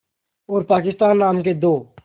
और पाकिस्तान नाम के दो